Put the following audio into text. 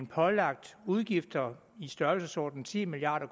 pålagt udgifter i størrelsesordenen ti milliard